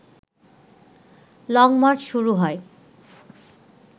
long march শুরু হয়